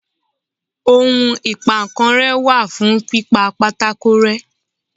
ohún ipá nkán re wa fún pipá pàtàkó rẹ